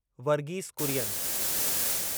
Varghese Kurien